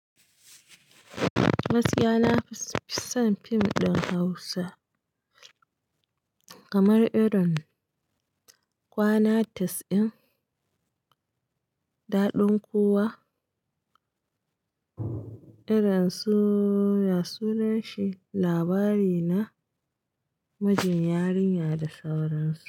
Gaskiya nafison film din hausa kamar irin kwanati's in daɗin kuwa. Irin suna ya sunanshi labari na mijin yarinya da sauransu.